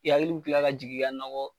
I yakili bi kila ka jigi i ka nakɔ.